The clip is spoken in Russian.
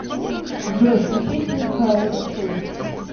джой включи синг караоке синг